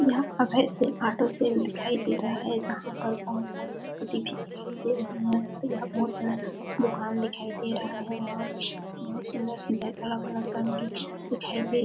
यहाँ Abhay sale auto sale दिखाई दे रहा है जहाँ पर बहुत सारी स्कूटी भी दिखाई दे रहीं है और यह बहुत बड़ा दुकान दिखाई दे रहा है और बहुत सुन्दर-सुन्दर बड़ा-बड़ा दुकान भी दिखाई दे--